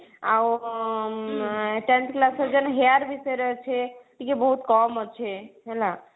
ଆଉ tenth class ର ଯେନ hair ବିଷୟରେ ଅଛେ ଟିକେ ବହୁତ କମ ଅଛେ ହେଲା